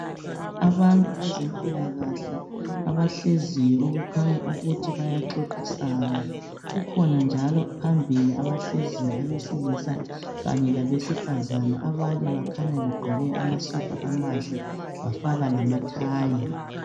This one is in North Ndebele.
Abantu bezempilakahle abahleziyo okukhanya ukuthi bayaxoxisana . Kukhona njalo abahleziyo abesilisa kanye labesifazana abakhanya begqoke amasudu amahle bafaka lamathayi.